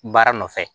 Baara nɔfɛ